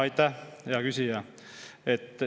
Aitäh, hea küsija!